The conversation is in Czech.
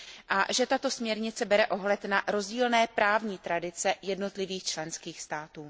a že tato směrnice bere ohled na rozdílné právní tradice jednotlivých členských států.